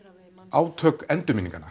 átök